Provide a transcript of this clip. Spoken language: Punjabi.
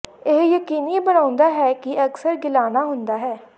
ਇਹ ਯਕੀਨੀ ਬਣਾਉਂਦਾ ਹੈ ਕਿ ਅਕਸਰ ਗਿਲਾਣਾ ਹੁੰਦਾ ਹੈ